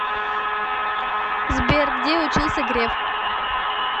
сбер где учился греф